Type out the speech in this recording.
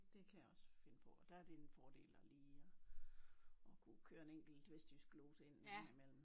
Det kan jeg også finde på og der det jo en fordel at lige at kunne køre en enkelt vestjysk glose ind en gang i mellem